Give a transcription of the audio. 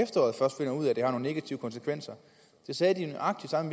at det har nogle negative konsekvenser det sagde de nøjagtig samme